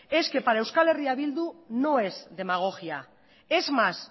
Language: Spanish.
es que para eh bildu no es demagogia es más